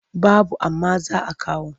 Babu amma za a kawo.